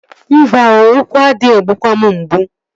Mba oo, ụkwụ ade egbukwa m mgbu